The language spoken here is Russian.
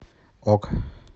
ок